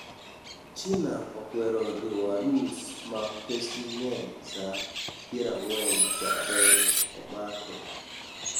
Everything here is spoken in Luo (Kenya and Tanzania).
china okwero riwo arus ma pesgi ng'eny saa pierang'wen chakre omake